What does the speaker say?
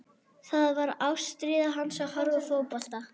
Það var ástríða hans að horfa á fótbolta.